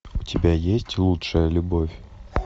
у тебя есть лучшая любовь